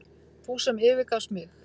Þú sem yfirgafst mig.